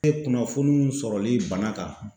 E kunnafonunw sɔrɔli bana kan